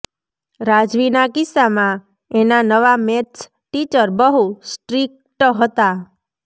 રાજવીના કિસ્સામાં એના નવા મેથ્સ ટીચર બહુ સ્ટ્રીકટ હતા